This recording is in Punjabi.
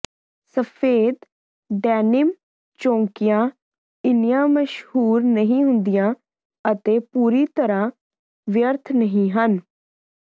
ਸਫੈਦ ਡੈਨੀਨਮ ਚੌਂਕੀਆਂ ਇੰਨੀਆਂ ਮਸ਼ਹੂਰ ਨਹੀਂ ਹੁੰਦੀਆਂ ਅਤੇ ਪੂਰੀ ਤਰ੍ਹਾਂ ਵਿਅਰਥ ਨਹੀਂ ਹਨ